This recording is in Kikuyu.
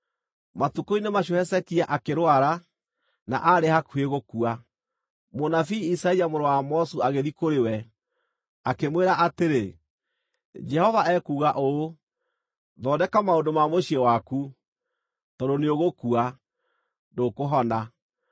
Matukũ-inĩ macio Hezekia akĩrwara, na aarĩ hakuhĩ gũkua. Mũnabii Isaia mũrũ wa Amozu agĩthiĩ kũrĩ we, akĩmwĩra atĩrĩ, “Jehova ekuuga ũũ: Thondeka maũndũ ma mũciĩ waku, tondũ nĩũgũkua, ndũkũhona.”